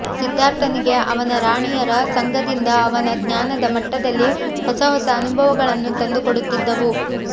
ಸಿದ್ಧಾರ್ಥನಿಗೆ ಅವನ ರಾಣಿಯರ ಸಂಗದಿಂದ ಅವನ ಜ್ಞಾನದ ಮಟ್ಟದಲ್ಲಿ ಹೊಸಹೊಸ ಅನುಭವಗಳನ್ನು ತಂದುಕೊಡುತ್ತಿದ್ದವು